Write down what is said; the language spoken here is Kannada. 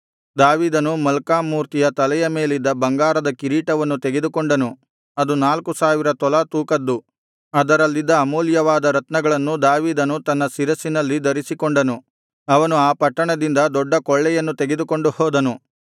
ದಾವೀದನು ಮಲ್ಕಾಮ್ ಮೂರ್ತಿಯ ತಲೆಯ ಮೇಲಿದ್ದ ಬಂಗಾರದ ಕಿರೀಟವನ್ನು ತೆಗೆದುಕೊಂಡನು ಅದು ನಾಲ್ಕು ಸಾವಿರ ತೊಲಾ ತೂಕದ್ದು ಅದರಲ್ಲಿದ್ದ ಅಮೂಲ್ಯವಾದ ರತ್ನಗಳನ್ನು ದಾವೀದನು ತನ್ನ ಶಿರಸ್ಸಿನಲ್ಲಿ ಧರಿಸಿಕೊಂಡನು ಅವನು ಆ ಪಟ್ಟಣದಿಂದ ದೊಡ್ಡ ಕೊಳ್ಳೆಯನ್ನು ತೆಗೆದುಕೊಂಡು ಹೋದನು